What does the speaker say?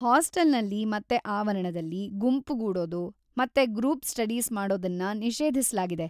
ಹಾಸ್ಟೆಲ್ನಲ್ಲಿ ಮತ್ತೆ ಆವರಣದಲ್ಲಿ ಗುಂಪುಗೂಡೋದು ಮತ್ತೆ ಗ್ರೂಪ್‌ ಸ್ಟಡೀಸ್‌ ಮಾಡೋದನ್ನ ನಿಷೇಧಿಸ್ಲಾಗಿದೆ.